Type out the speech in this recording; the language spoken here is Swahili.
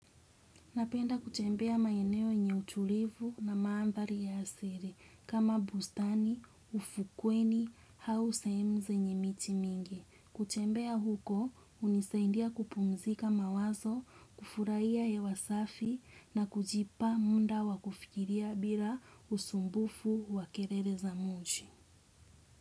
Napenda kutembea maeneo yenye utulivu na maandhari ya asili kama bustani, ufukweni, au sehemu zenye miti mingi. Kutembea huko, hunisaindia kupumzika mawazo, kufurahia hewa safi na kujipa muda wa kufikiria bila usumbufu wa kelele za mji.